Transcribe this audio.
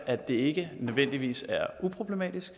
at det ikke nødvendigvis er uproblematisk